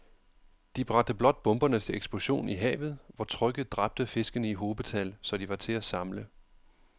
De bragte blot bomberne til eksplosion i havet, hvor trykket dræbte fiskene i hobetal, så de var til at samle